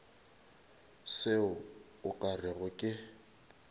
se o ka rego ke